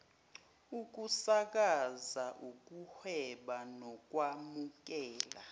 ukusakaza ukuhweba nokwamukela